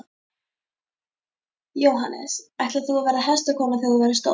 Jóhannes: Ætlar þú að verða hestakona þegar þú verður stór?